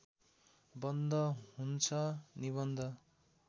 बन्द हुन्छ निबन्ध